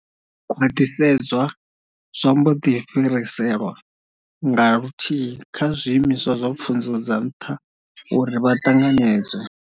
Khwaṱhisedzwa zwa mboḓi fhiriselwa nga luthihi kha zwiimiswa zwa pfunzo dza nṱha uri vha ṱanganedzwe.